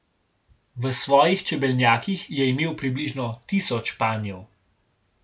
V svojih čebelnjakih je imel približno tisoč panjev.